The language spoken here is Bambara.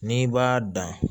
N'i b'a dan